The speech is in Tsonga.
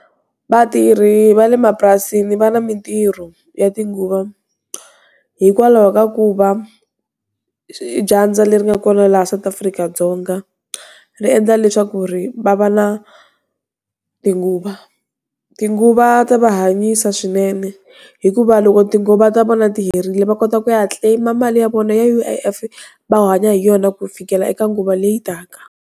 Vatirhi va le mapurasini va na mintirho, ya tinguva, Hikwalaho ka ku va, dyandza leri nga kona laha South Afrika-Dzonga. Ri endla leswaku ri va va na, tinguva. Tinguva ta va hanyisa swinene, hikuva loko tinguva ta vona ti herile va kota ku ya claim-a mali ya vona ya U_I_F, va hanya hi yona ku fikela eka nguva leyi taka.